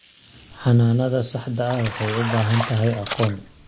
Xannaanada saxda ah waxay u baahan tahay aqoon.